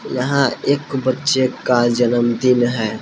यहां एक बच्चे का जनमदिन है।